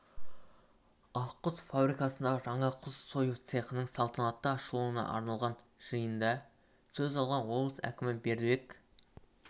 ақ құс фабрикасындағы жаңа құс сою цехының салтанатты ашылуына арналған жиында сөз алған облыс әкімі бердібек